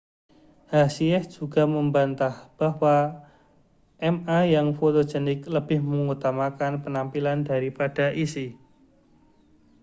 hsieh juga membantah bahwa ma yang fotogenik lebih mengutamakan penampilan daripada isi